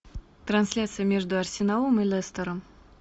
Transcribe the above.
трансляция между арсеналом и лестером